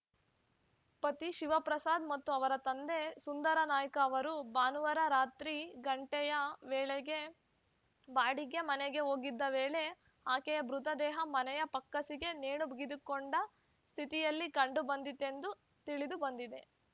ಪತಿ ಶಿವಪ್ರಸಾದ್ ಮತ್ತು ಅವರ ತಂದೆ ಸುಂದರ ನಾಯ್ಕ ಅವರು ಭಾನುವಾರ ರಾತ್ರಿ ಗಂಟೆಯ ವೇಳೆಗೆ ಬಾಡಿಗೆ ಮನೆಗೆ ಹೋಗಿದ್ದ ವೇಳೆ ಆಕೆಯ ಮೃತದೇಹ ಮನೆಯ ಪಕ್ಕಾಸಿಗೆ ನೇಣುಬಿಗಿದುಕೊಂಡ ಸ್ಥಿತಿಯಲ್ಲಿ ಕಂಡು ಬಂದಿತ್ತೆಂದು ತಿಳಿದು ಬಂದಿದೆ